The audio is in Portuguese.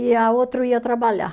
E a, outro ia trabalhar.